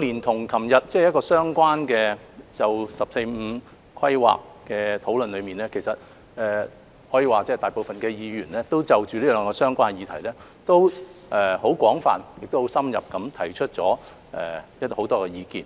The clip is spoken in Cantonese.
連同昨天就《十四五規劃綱要》的相關討論，可以說大部分議員已就這兩項相關的議題廣泛而深入地提出了很多意見。